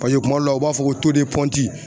kuma dɔw la u b'a fɔ ko